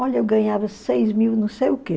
Olha, eu ganhava seis mil não sei o quê.